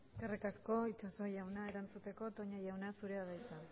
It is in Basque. eskerrik asko itxaso jauna erantzuteko toña jauna zurea da hitza